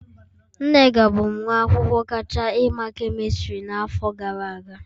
Nneka bụ nwa akwụkwọ kacha ima kemistri n'afọ gara aga